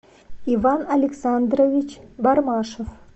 иван александрович бармашев